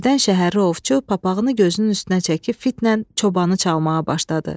Birdən şəhərli ovçu papağını gözünün üstünə çəkib fitlə çobanı çalmağa başladı.